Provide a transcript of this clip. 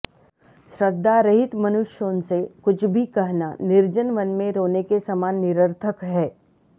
श्रद्धारहित मनुष्यों से कुछ भी कहना निर्जन वन में रोने के समान निरर्थक है